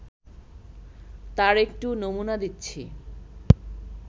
তার একটু নমুনা দিচ্ছি